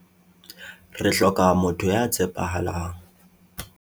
Re hloka motho ya tshepahalang.